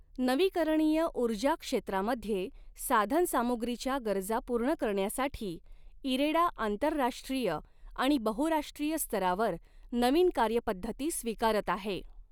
नवीकरणीय ऊर्जा क्षेत्रामध्ये साधन सामुग्रीच्या गरजा पूर्ण करण्यासाठी इरेडा आंतरराष्ट्रीय आणि बहुराष्ट्रीय स्तरावर नवीन कार्यपद्धती स्वीकारत आहे.